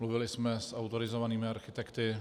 Mluvili jsme s autorizovanými architekty.